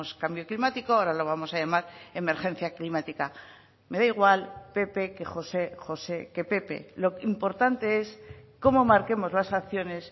cambio climático ahora lo vamos a llamar emergencia climática me da igual pepe que josé josé que pepe lo importante es cómo marquemos las acciones